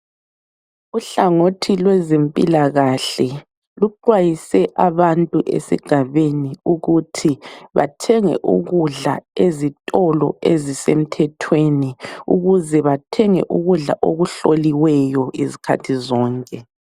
Uhlangothi lwezempilakahle luxwayise abantu esigabeni ukuthi bathenge ukudla ezitolo ezisemthethweni ukuze bathenge ukudla okuhloliweyo izikhathi zonke.